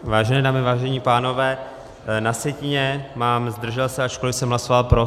Vážené dámy, vážení pánové, na sjetině mám "zdržel se", ačkoliv jsme hlasoval pro.